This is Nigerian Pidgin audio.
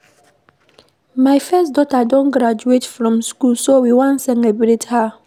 My first daughter don graduate from school so we wan celebrate her